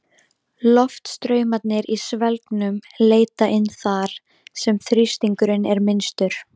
Loftstraumarnir í svelgnum leita inn þar, sem þrýstingurinn er minnstur.